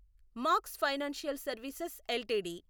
max financial services LTD